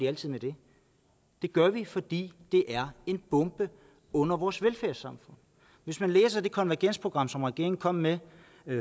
altid det gør vi fordi det er en bombe under vores velfærdssamfund hvis man læser det konvergensprogram som regeringen kom med